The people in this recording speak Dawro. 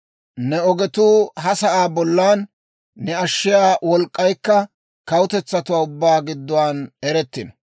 Ne ogetuu ha sa'aa bollan, ne ashshiyaa wolk'k'aykka, kawutetsatuwaa ubbaa gidduwaan erettino.